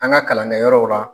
An ŋa kalankɛyɔrɔw la.